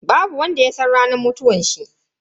Babu wanda ya san ranar mutuwanshi.